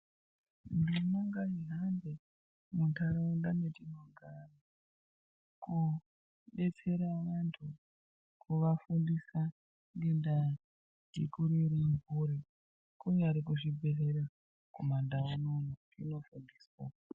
Ndima ngai hambe muntharaunda mwetinogara koodetsera anthu kuafundisa ngendaa dzekurera mphuri, kunyari kuzvibhedhlera kumandau unono zvinofundiswa.